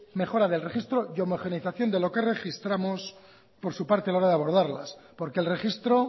mejora del registro y homogeneización de lo que registramos por su parte a la hora de abordarlas porque el registro